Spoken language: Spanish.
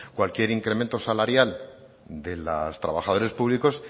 cualquier incremento salarial de los trabajadores públicos